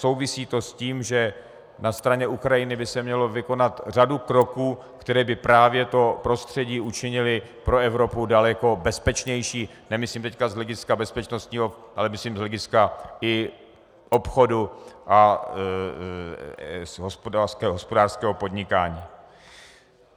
Souvisí to s tím, že na straně Ukrajiny by se měla vykonat řada kroků, které by právě to prostředí učinily pro Evropu daleko bezpečnější - nemyslím teď z hlediska bezpečnostního, ale myslím z hlediska i obchodu a hospodářského podnikání.